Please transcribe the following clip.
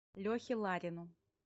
лехе ларину